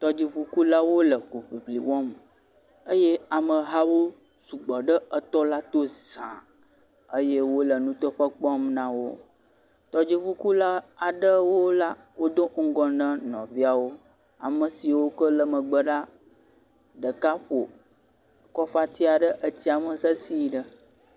Tɔdziʋukulawo le hoʋli eye amewo sugbɔ ɖe tɔla to za eye wole nuteƒe kpɔm nawo tɔdzikula aɖewo la do ŋgɔ na nɔviawo ame siwo ke le megbe la ɖeka ƒo kɔfatia ɖe tsime sesiẽ ɖe